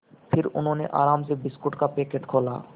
फिर उन्होंने आराम से बिस्कुट का पैकेट खोला